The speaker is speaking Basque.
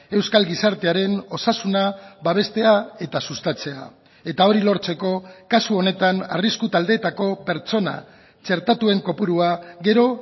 euskal gizartearen osasuna babestea eta sustatzea eta hori lortzeko kasu honetan arrisku taldeetako pertsona txertatuen kopurua gero